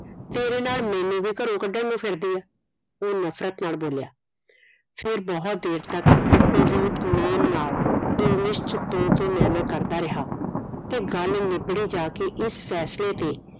ਤੇਰੇ ਨਾਲ ਮੈਨੂੰ ਵੀ ਘਰੋਂ ਕੱਢਣ ਨੂੰ ਫਿਰਦੀ ਹੈ ਉਹ ਨਫਰਤ ਨਾਲ ਬੋਲਿਆ ਫੇਰ ਬਹੁਤ ਦੇਰ ਤਕ ਕੁਲਦੀਪ ਮੇਮ ਨਾਲ ਇੰਗਲਿਸ਼ ਚ ਤੂੰ ਤੂੰ ਮੈਂ ਮੈਂ ਕਰਦਾ ਰਿਹਾ ਤੇ ਗੱਲ ਨਿਬੜੀ ਜਾਕੇ ਇਸ ਫੈਸਲੇ ਤੇ